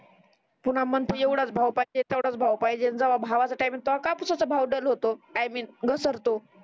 पुन्हा म्हणते एवढाच भाव पाहिजे तेवढाच भाव पाहिजे जेव्हा भावाच काय म्हणतो तेव्हा कापुसाचा भाव डल होतो आय मीन घसरतो